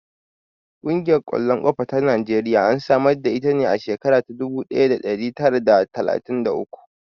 Ƙungiyar ƙwallon ƙafa ta Najeriya an samar da ita a shekarar dubu ɗaya da ɗari tara d talatin da uku.